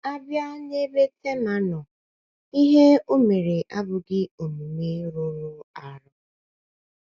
A bịa n’ebe Tema nọ, ihe ihe o mere abụghị omume rụrụ arụ.